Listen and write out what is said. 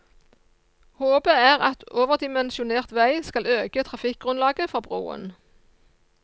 Håpet er at overdimensjonert vei skal øke trafikkgrunnlaget for broen.